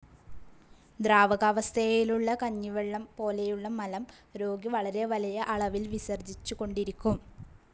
ദ്രാവകാവസ്ഥയിലുള്ള കഞ്ഞിവെള്ളം പോലെയുള്ള മലം രോഗി വളരെ വലിയ അളവിൽ വിസർജിച്ചുകൊണ്ടിരിക്കും.